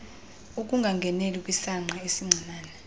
ukungangeneli kwisangqa esincinane